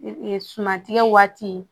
suman tigɛ waati